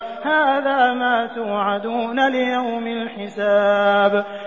هَٰذَا مَا تُوعَدُونَ لِيَوْمِ الْحِسَابِ